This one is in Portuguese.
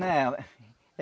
Não.